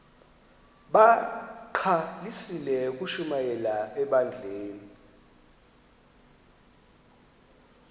bagqalisele ukushumayela ebandleni